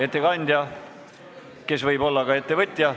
Ettekandja, kes võib olla ka ettevõtja.